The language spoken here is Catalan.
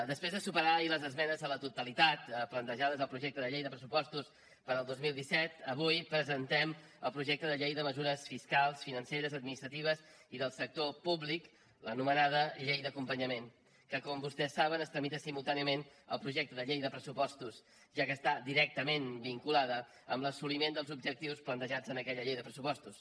després de superar ahir les esmenes a la totalitat plantejades al projecte de llei de pressupostos per al dos mil disset avui presentem el projecte de llei de mesures fiscals financeres administratives i del sector públic l’anomenada llei d’acompanyament que com vostès saben es tramita simultàniament al projecte de llei de pressupostos ja que està directament vinculada amb l’assoliment dels objectius plantejats en aquella llei de pressupostos